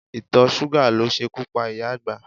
Ìtọ̀ṣúgà ló ṣekú pa ìyá àgbà.